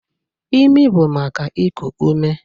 Ịmị bụ maka iku ume.